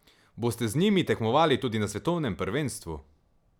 Boste z njimi tekmovali tudi na svetovnem prvenstvu?